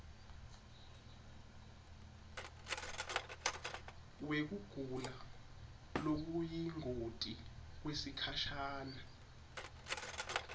wekugula lokuyingoti kwesikhashana